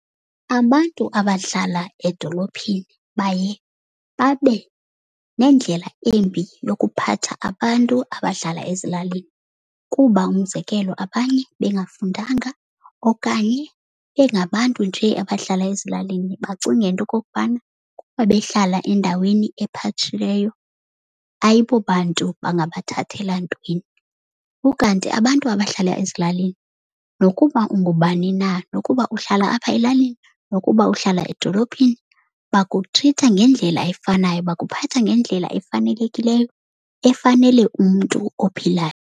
Abantu abahlala edolophini baye babe nendlela embi yokuphatha abantu abahlala ezilalini. Kuba umzekelo abanye bengafundanga okanye bengabantu njee abahlala ezilalini bacinge into yokokubana kuba behlala endaweni ephatshileyo ayibo bantu bangabathathela ntweni. Ukanti abantu abahlala ezilalini nokuba ungubani na, nokuba uhlala apha elalini nokuba uhlala edolophini bakutritha ngendlela efanayo, bakuphatha ngendlela efanelekileyo efanele umntu ophilayo.